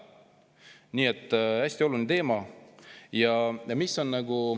Nii et see on hästi oluline teema.